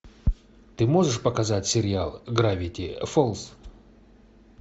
ты можешь показать сериал гравити фолз